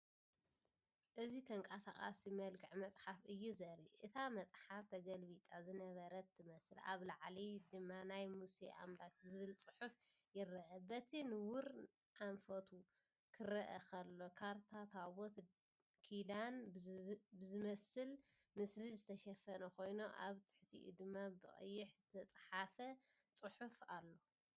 እዚ ተንቀሳቓሲ መልክዕ መጽሓፍ እዩ ዘርኢ። እታ መጽሓፍ ተገልቢጣ ዝነበረት ትመስል፣ ኣብ ላዕሊ ድማ“ናይ ሙሴ ኣምላክ” ዝብል ጽሑፍ ይርአ። በቲ ንቡር ኣንፈቱ ክርአ ከሎ፡ካርታ ታቦት ኪዳን ብዝመስል ምስሊ ዝተሸፈነ ኮይኑ ኣብ ትሕቲኡ ድማ ብቀይሕ ዝተጻሕፈ ጽሑፍ ኣሎ።